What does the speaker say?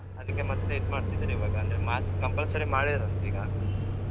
ಅದಿಕ್ಕೆ ಮತ್ತೆ ಇದ್ ಮಾಡ್ತಿದ್ದರಿವಾಗ, ಅಂದ್ರೆ mask compulsory ಮಾಡಿದ್ರಂತೀಗ.